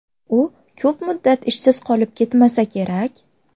U ko‘p muddat ishsiz qolib ketmasa kerak.